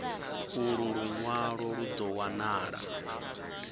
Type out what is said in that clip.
ulu lunwalo lu do wanala